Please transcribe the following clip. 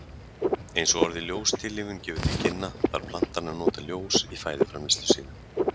Eins og orðið ljóstillífun gefur til kynna, þarf plantan að nota ljós í fæðuframleiðslu sína.